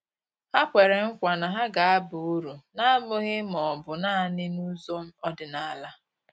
Ha kwere nkwa na ha ga-aba uru, na-abụghị ma ọ bụ naanị n'ụzọ ọdịnala.